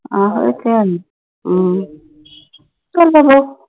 ਆਹੋ ਇਹ ਤਾ ਹੈ ਈਆ ਹਮ